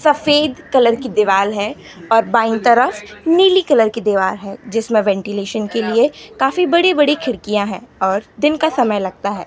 सफ़ेद कलर की दीवाल है और बाएँ तरफ नीली कलर की दीवाल है जिसमें वेंटिलेशन के लिए काफी बड़ी बड़ी खिड़कियाँ है और दिन का समय लगता है।